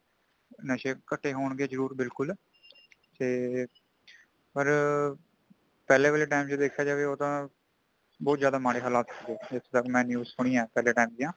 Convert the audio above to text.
ਨਸ਼ੇ ਕਟੇ ਹੋਣਗੇ ਜ਼ਰੂਰ ਬਿਲਕੁਲ। ਤੇ ਪਰ ,ਪਹਿਲੇ ਵਾਲੇ time ਤੇ ਦੇਖਿਆ ਜਾਵੇ ਉਦਾ ਬਹੁਤ ਜ਼ਿਆਦਾ ਮਾੜੇ ਹਲਾਥ ਹੋ ਗਯੇ ਸਨ ਮੈ news ਸੁਨਿ ਹੈ | ਪਹਿਲੇ time ਦਿਆਂ